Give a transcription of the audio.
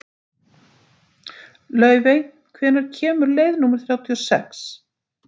Laufey, hvenær kemur leið númer þrjátíu og sex?